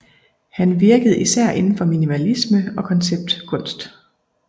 Han virkede især indenfor minimalisme og konceptkunst